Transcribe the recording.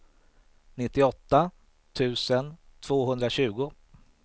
nittioåtta tusen tvåhundratjugo